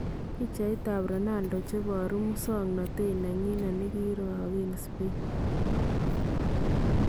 Picheetab Ronaldo cheboruu musoknotet nenyinet nkirokeen Spain.